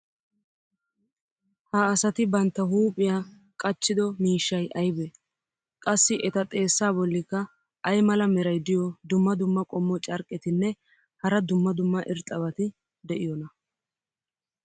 ha asati bantta huuphiya qachchido miishshay aybee? qassi eta xeessaa bolikka ay mala meray diyo dumma dumma qommo carqqetinne hara dumma dumma irxxabati de'iyoonaa?